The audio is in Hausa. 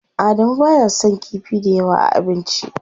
Adamu baya son kifi dayawa a abinci.